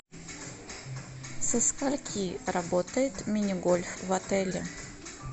со скольки работает мини гольф в отеле